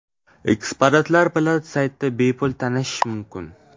Eksponatlar bilan saytda bepul tanishish mumkin: .